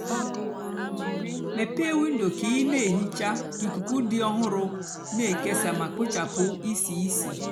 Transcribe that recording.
mepée windo kà ị nà-èhicha kà ikuku dị ọhụrụ nà-èkesa mà kpochapụ ísí ísì.